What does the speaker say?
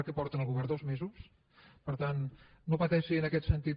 què porta en el govern dos mesos per tant no pateixi en aquest sentit